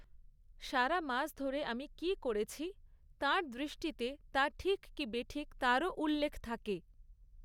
সারা মাস ধরে আমি কী করেছি, তাঁর দৃষ্টিতে তা ঠিক কি বেঠিক তারও উল্লেখ থাকে।